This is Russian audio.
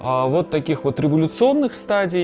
вот таких вот революционных стадий